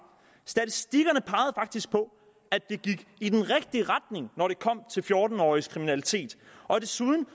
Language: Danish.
statistikkerne pegede faktisk på at det gik i den rigtige retning når det kom til fjorten årige s kriminalitet og desuden